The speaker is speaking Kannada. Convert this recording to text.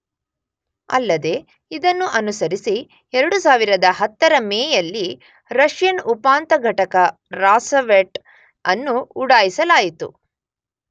ಅಲ್ಲದೇ ಇದನ್ನು ಅನುಸರಿಸಿ 2010 ರ ಮೇಯಲ್ಲಿ ರಷ್ಯನ್ ಉಪಾಂತ ಘಟಕ ರಾಸವೆಟ್ ಅನ್ನು ಉಡಾಯಿಸಲಾಯಿತು